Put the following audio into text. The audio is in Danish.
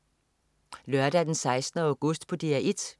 Lørdag den 16. august - DR 1: